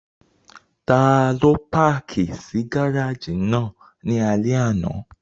Ta ló páàkì sí gáràjì náà ní alẹ́ àná?